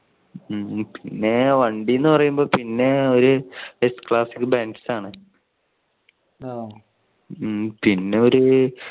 പിന്നെ വണ്ടി എന്ന് പറയുമ്പോ പിന്നെ ഒരു ക്ലാസിക് ബെൻസ് ആണ്. ആ പിന്നെ ഒരു